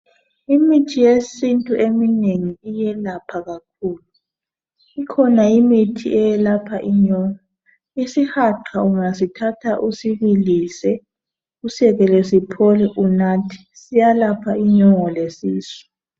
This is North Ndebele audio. Imithi yesintu eminengi iyelapha kakhulu ikhona imithi eyelapha inyongo, isihaqa ungasithatha usibilise usekele siphole unathe siyalapha inyongo lesisu.